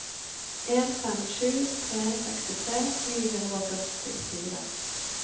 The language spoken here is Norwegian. en fem sju tre sekstitre ni hundre og førtifire